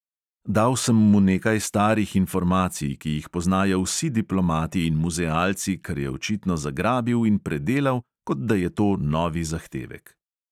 Dal sem mu nekaj starih informacij, ki jih poznajo vsi diplomati in muzealci, kar je očitno zagrabil in predelal, kot da je to novi zahtevek.